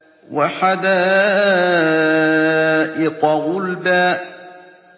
وَحَدَائِقَ غُلْبًا